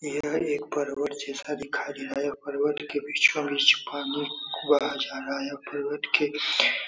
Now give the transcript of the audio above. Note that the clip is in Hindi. यह एक पर्वत जैसा दिखाई दे रहा है यह पर्वत के बीचो-बीच पानी भरा जा रहा है पर्वत के --